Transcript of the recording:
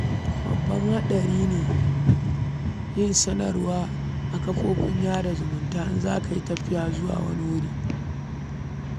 Babban haɗari ne yin sanarwa a kafafen sada zumunta idan za ka yi tafiya zuwa wani wuri.